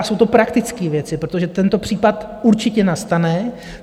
A jsou to praktické věci, protože tento případ určitě nastane.